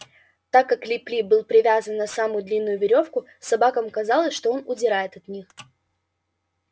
так как лип лип был привязан на самую длинную верёвку собакам казалось что он удирает от них